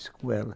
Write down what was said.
com ela